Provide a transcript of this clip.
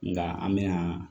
Nka an bɛna